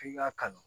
F'i k'a kanu